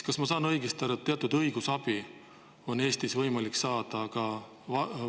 Kas ma saan õigesti aru, et teatud õigusabi on Eestis võimalik saada ka vargal?